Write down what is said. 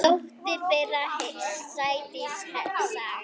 Dóttir þeirra: Sædís Saga.